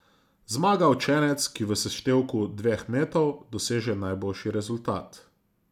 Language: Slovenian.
Zmaga učenec, ki v seštevku dveh metov doseže najboljši rezultat.